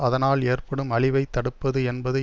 அதனால் ஏற்படும் அழிவை தடுப்பது என்பது